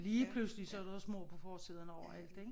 Lige pludselig så er deres mor på forsiden overalt ik